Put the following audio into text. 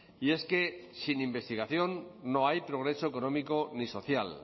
y es que sin investigación no hay progreso económico ni social